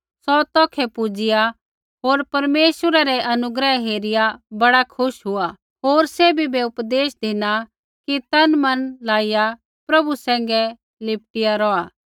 सौ तौखै पुजिआ होर परमेश्वरै रै अनुग्रह हेरिआ बड़ा खुश हुआ होर सैभी बै उपदेश धिना कि तनमन लाइआ प्रभु सैंघै लिपटी रौहा